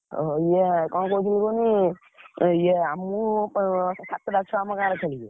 ଓହୋ ଇଏ କଣ କହୁଥିଲେ କହନି ଇଏ ଆ ମୁଁ ସାତେ ଟା ଛୁଆ ଆମ ଗାଁରେ ଖେଳିବେ।